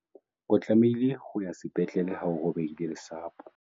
o tlameha ho ya sepetlele ha o robehile lesapo